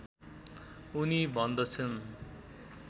उनी भन्दछन्